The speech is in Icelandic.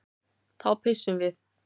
Þá pissum við.